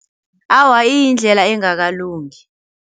Awa iyindlela engakalungi.